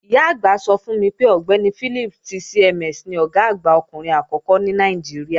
Ìyá-àgbà mi sọ fún mi pé Ọ̀gbẹ́ni Philips ti CMS ni Ọ̀gá àgbà ọkùnrin àkọ́kọ́ ní Nàìjíríà